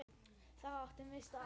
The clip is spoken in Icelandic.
Þar áttum við okkar stað.